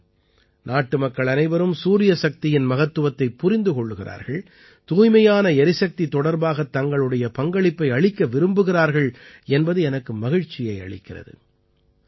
இன்று நாட்டுமக்கள் அனைவரும் சூரிய சக்தியின் மகத்துவத்தைப் புரிந்து கொள்கிறார்கள் தூய்மையான எரிசக்தி தொடர்பாகத் தங்களுடைய பங்களிப்பை அளிக்க விரும்புகிறார்கள் என்பது எனக்கு மகிழ்ச்சியை அளிக்கிறது